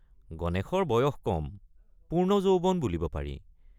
গণেশৰ বয়স কম পূৰ্ণ যৌৱন বুলিব পাৰি।